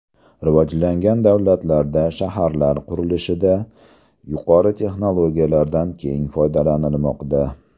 Rivojlangan davlatlarda shaharlar qurilishida yuqori texnologiyalardan keng foydalanilmoqda.